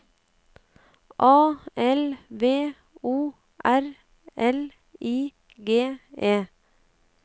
A L V O R L I G E